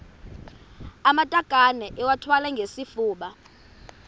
amatakane iwathwale ngesifuba